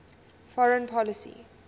foreign policy